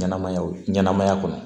Ɲɛnɛmaya wo ɲɛnamaya kɔnɔ